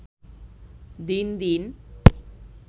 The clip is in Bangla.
দিন দিন